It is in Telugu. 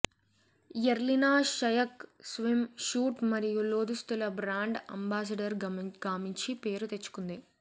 యర్లినా షయక్ స్విమ్ షూట్ మరియు లోదుస్తుల బ్రాండ్ అంబాసిడర్ గామంచి పేరు తెచ్చుకుంది